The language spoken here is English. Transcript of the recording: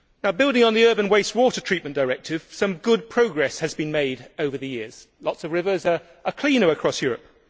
Building on the Urban Waste Water Treatment Directive, some good progress has been made over the years. Lots of rivers are cleaner across Europe.